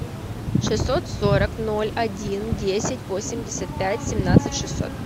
шестьсот сорок ноль один десять восемьдесят пять семнадцать шестьсот